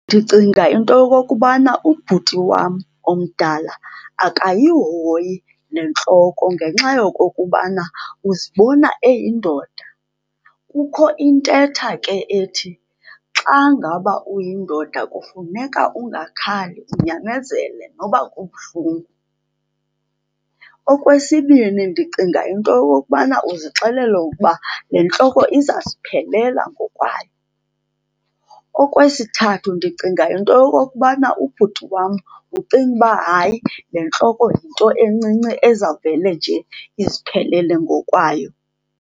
Ndicinga into yokokubana ubhuti wam omdala akayihoyi le ntloko ngenxa yokokubana uzibona eyindoda. Kukho intetha ke ethi xa ngaba uyindoda kufuneka ungakhali, unyamezele noba kubuhlungu. Okwesibini, ndicinga into yokokubana uzixelela ukuba le ntloko izaziphelela ngokwayo. Okwesithathu, ndicinga into yokokubana ubhuti wam ucinga uba hayi le ntloko yinto encinci ezawuvele nje iziphelele ngokwayo.